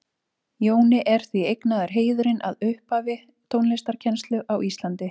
Jóni er því eignaður heiðurinn að upphafi tónlistarkennslu á Íslandi.